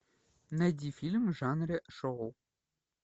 найди фильм в жанре шоу